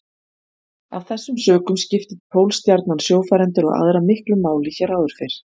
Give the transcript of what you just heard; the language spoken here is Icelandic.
Af þessum sökum skipti Pólstjarnan sjófarendur og aðra miklu máli hér áður fyrr.